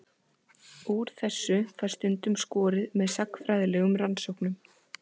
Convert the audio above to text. Úr þessu fæst stundum skorið með sagnfræðilegum rannsóknum.